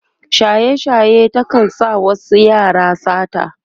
shaye shaye ta kan sa wasu yaran sata